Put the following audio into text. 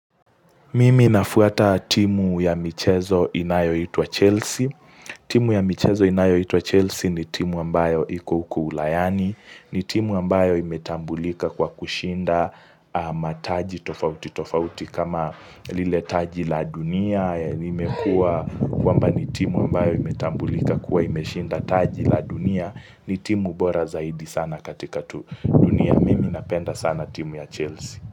Mimi nafuata timu ya michezo inayoitwa Chelsea. Timu ya michezo inayoitwa Chelsea ni timu ambayo iko huku ulayani. Ni timu ambayo imetambulika kwa kushinda mataji tofauti tofauti kama lile taji la dunia. Limekuwa kwamba ni timu ambayo imetambulika kuwa imeshinda taji la dunia. Ni timu bora zaidi sana katika dunia. Mimi napenda sana timu ya Chelsea.